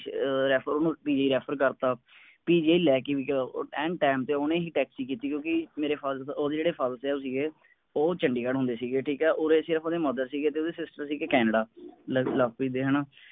ਚਲੋ ਮੈਂ ਹਵਾਲੇਓਹਨੂੰ ਹਵਾਲੇਕਰ ਤਾ ਲੈ ਕੇ ਵੀ ਗਏ ਐਨ ਸਮਾਂਤੇ ਓਹਨੇ ਹੀ ਟੈਕਸੀ ਕੀਤੀ ਕਿਉਂਕਿ ਮੇਰੇ ਪਿਤਾ ਸਾਹਿਬ ਓਹਦੇ ਜਿਹੜੇ ਪਿਤਾ ਸਾਹਿਬ ਸੀਗੇ ਉਹ ਚੰਡੀਗ੍ਹੜ ਹੁੰਦੇ ਸੀ ਠੀਕ ਹੈ ਉਸਰੇ ਸਿਰਫ ਓਹਦੇ ਸੀਗੇ ਤੇ ਸੀਗੇ ਕੈਨੇਡਾ ਲਵਪ੍ਰੀਤ ਦੇ ਹੈ ਨਾ